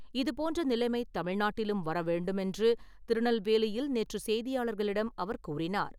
இதுபோன்ற நிலைமை தமிழ்நாட்டிலும் வர வேண்டுமென்று திருநெல்வேலியில் நேற்று செய்தியாளர்களிடம் அவர் கூறினார்.